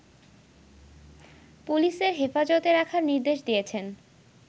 পুলিশের হেফাজতে রাখার নির্দেশ দিয়েছেন